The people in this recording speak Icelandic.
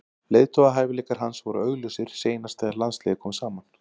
Leiðtogahæfileikar hans voru augljósir seinast þegar landsliðið kom saman.